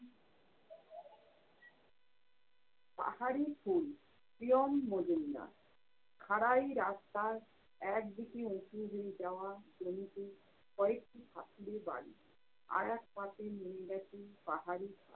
পাহাড়ি ফুল প্রিয়ম মজুমদার। খাড়াই রাস্তার একদিকে উঁচু grill দেওয়া জমিতে কয়েকটি কাঠালি বাড়ি আরেকপাশে নিমরাজি পাহাড়ি